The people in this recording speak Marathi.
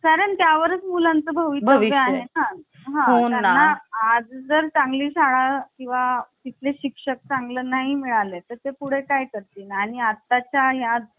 कारण त्या वर मुलांच भवितव्य आहे हो ना आज जर चांगली शाळा किंवा तिथले शिक्षक चांगलं नाही मिळाले तर ते पुढे काय कर तील आणि आताच आहे. आज